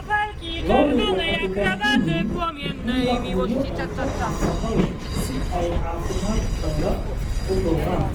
Lo'du waxay u baahan yihiin in la quudiyo cunto nafaqo leh si ay caafimaadkooda u dhawraan.